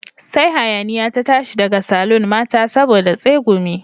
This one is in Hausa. Sai hayaniya ta tashi daga saloon mata saboda tsegumi